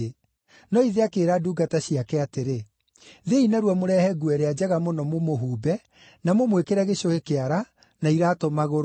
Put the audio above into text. “No ithe akĩĩra ndungata ciake atĩrĩ, ‘Thiĩi narua mũrehe nguo ĩrĩa njega mũno mũmũhumbe, na mũmwĩkĩre gĩcũhĩ kĩara, na iraatũ magũrũ.